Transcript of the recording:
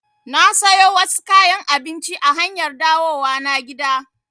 Na sayo wasu kayan abinci a hanyar dawowa na gida